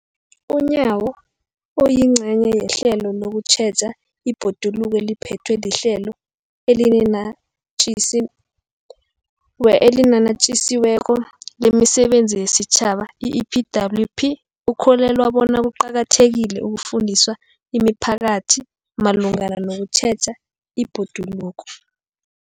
UNyawo, oyingcenye yehlelo lokutjheja ibhoduluko eliphethwe liHlelo eliNatjisi weko lemiSebenzi yesiTjhaba, i-EPWP, ukholelwa bona kuqakathekile ukufundisa imiphakathi malungana nokutjheja ibhoduluko.